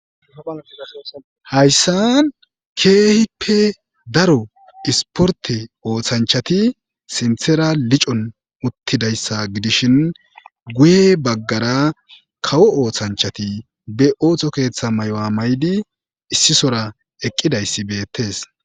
Hayssa keehippe daro isporte ooththanchati sinthera licon uttidayssa gidishin guye baggara kawo oothanchati be ooththo keeththa may'a may'di issisora eqqidayssi beettees